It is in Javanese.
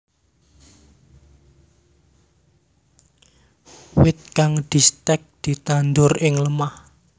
Wit kang distèk ditandur ing lemah